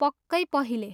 पक्कै पहिले।